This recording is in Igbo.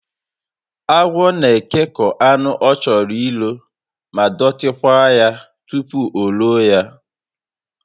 Agwọ na ekekọ anụ ọ chọrọ ilo ma dọtí kwaa ya tupu o loo ya